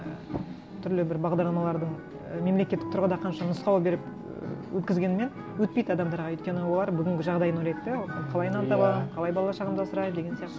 і түрлі бір бағдарламалардың і мемлекеттік тұрғыда қанша нұсқау беріп і өткізгенімен өтпейді адамдарға өйткені олар бүгінгі жағдайын ойлайды да қалай нан табамын қалай бала шағамды асыраймын деген сияқты